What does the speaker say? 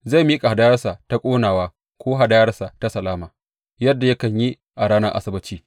Zai miƙa hadayarsa ta ƙonawa ko hadayarsa ta salama yadda yakan yi a ranar Asabbaci.